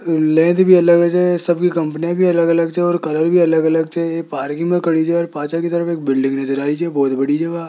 लेज भी अलग सभी कंपनियां भी अलग अलग छे और कलर भी अलग अलग छे ये पार्किंग में खड़ी छे और पाछे की तरफ एक बिल्डिंग नज़र आ बहुत बड़ी --